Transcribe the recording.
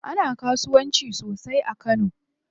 Ana kasuwanci sosai a kano.